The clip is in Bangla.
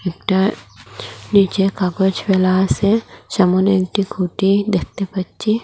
একটা নীচে কাগজ ফেলা আসে সামনে একটি খুঁটি দেখতে পাচ্ছি।